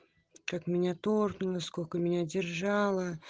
как меня торкнуло сколько меня держало